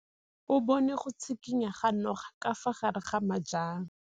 O bone go tshikinya ga noga ka fa gare ga majang.